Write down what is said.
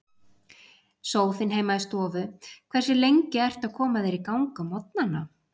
Sófinn heima í stofu Hversu lengi ertu að koma þér í gang á morgnanna?